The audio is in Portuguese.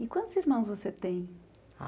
E quantos irmãos você tem?